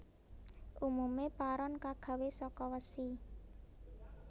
Umume paron kagawe saka wesi